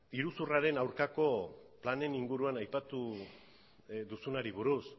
iruzurraren aurkako planen inguruan aipatu duzunari buruz